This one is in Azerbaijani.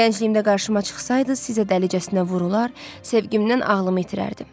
Gəncliyimdə qarşıma çıxsaydı, sizə dəlicəsinə vurular, sevgimdən ağlımı itirərdim.